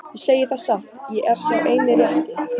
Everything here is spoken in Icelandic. Ég segi það satt, ég er sá eini rétti.